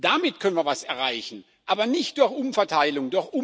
Damit können wir etwas erreichen, aber nicht durch Umverteilung.